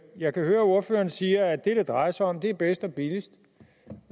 jeg kan høre ordføreren siger at det det drejer sig om er bedst og billigst og